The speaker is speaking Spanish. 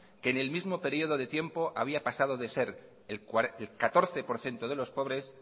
en el mismo periodo de tiempo había pasado de ser